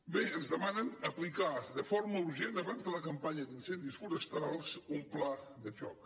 bé ens demanen aplicar de forma urgent abans de la campanya d’incendis forestals un pla de xoc